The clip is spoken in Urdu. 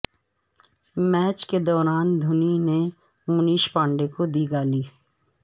میچ کے دوران دھونی نے منیش پانڈے کو دی گالی